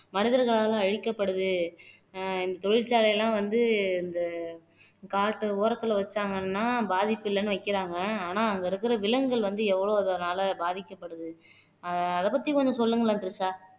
மனிதர்களால் அழிக்கப்படுது அஹ் இந்த தொழிற்சாலை எல்லாம் வந்து இந்த காட்டு ஓரத்துல வச்சாங்கன்னா பாதிப்பு இல்லைன்னு வைக்கிறாங்க ஆனா அங்க இருக்கிற விலங்குகள் வந்து எவ்வளவு இதுனால பாதிக்கப்படுது அதப் பத்தி கொஞ்சம் சொல்லுங்களேன் திரிஷா